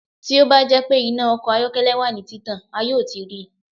Ti o ba jẹ pe ina ọkọ ayọkẹlẹ wa ni titan a yoo ti rii